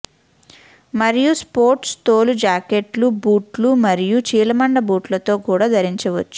మరియు స్పోర్ట్స్ తోలు జాకెట్లు బూట్లు మరియు చీలమండ బూట్లతో కూడా ధరించవచ్చు